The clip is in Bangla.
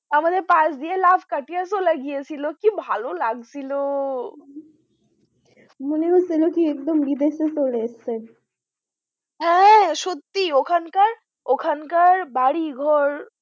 আমাদের পাশ দিয়ে লাফ কাটিয়া চলে গেছিল, কি ভালো লাগছিল! মনে হচ্ছে কি একদম বিদেশে চলে এসেছেন হ্যাঁ সত্যি ওখানকার ওখানকার বাড়িঘর